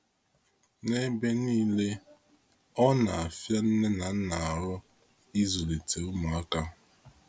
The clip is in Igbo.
N'ebe niile, ọ na afia nne na nna arụ ịzulite ụmụaka